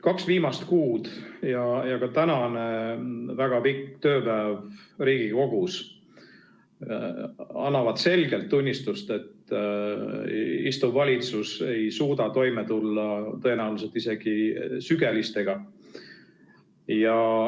Kaks viimast kuud ja ka tänane väga pikk tööpäev Riigikogus annavad selgelt tunnistust, et see valitsus ei suuda toime tulla tõenäoliselt isegi sügelistega.